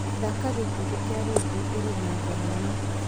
thaaka gĩkundi kĩa rĩndiũ ĩrĩ na thenema